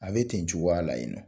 A bɛ ten cogoya la yen nɔ.